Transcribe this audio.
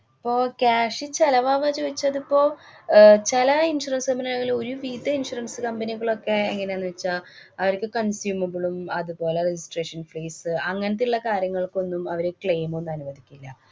അപ്പൊ cash ചെലവാവച്ച വച്ചാ അതിപ്പോ അഹ് ചെല insurance company കളില് ഒരു വിധ insurance company കളൊക്കെ എങ്ങനെയാന്ന് വച്ചാ അവര്ക്ക് consumbale ഉം, അതുപോലെ registration fees അ്, അങ്ങന്‍ത്തെയുള്ള കാര്യങ്ങള്‍ക്കൊന്നും അവര് claim ഒന്നും അനുവദിക്കില്ല.